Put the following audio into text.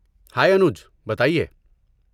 ہائے انوج، بتا ئیے۔